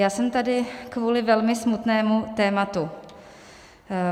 Já jsem tady kvůli velmi smutnému tématu.